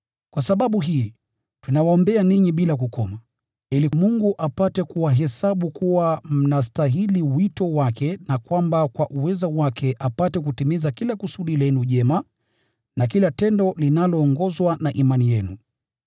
Kwa sababu hii, tunawaombea ninyi bila kukoma, ili Mungu apate kuwahesabu kuwa mnastahili wito wake na kwamba kwa uwezo wake apate kutimiza kila kusudi lenu jema na kila tendo linaloongozwa na imani yenu.